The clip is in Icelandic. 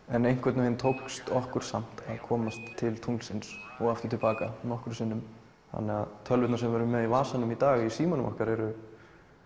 en einhvern veginn tókst okkur samt að komast til tunglsins og aftur til baka nokkrum sinnum þannig að tölvurnar sem við erum með í vasanum í dag í símanum okkar eru